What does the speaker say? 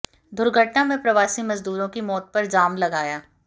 दुर्घटना में प्रवासी मजदूरों की मौत पर जाम लगाया